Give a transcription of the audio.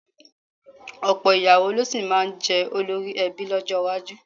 Ọ̀pọ̀ ìyàwó ló sì máa jẹ́ olórí ẹbí lọ́jọ́ iwájú.